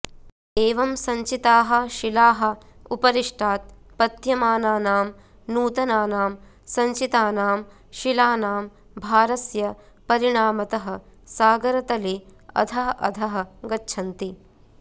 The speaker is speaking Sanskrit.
एवं सञ्चिताः शिलाः उपरिष्टात् पत्यमानानां नूतनानां सञ्चितानां शिलानां भारस्य परिणामतः सागरतले अधः अधः गच्छन्ति